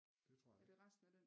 Det tror jeg ikke